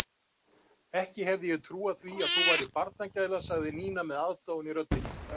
Ekki hefði ég trúað því að þú værir barnagæla sagði Nína með aðdáun í röddinni.